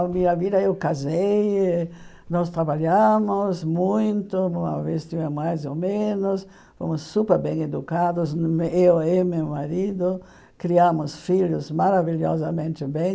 A minha vida, eu casei, nós trabalhamos muito, uma vez tivemos mais ou menos, fomos super bem educados, eu eu e meu marido, criamos filhos maravilhosamente bem.